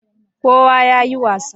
kowa ya yi wasa